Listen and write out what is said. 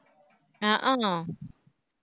ஆஹ் அஹ்